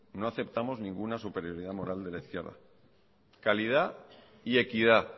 no aceptamos ninguna superioridad moral de la izquierda calidad y equidad